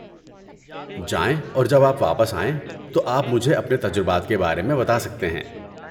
جائیں اور جب آپ واپس آئیں تو آپ مجھے اپنے تجربات کے بارے میں بتا سکتے ہیں۔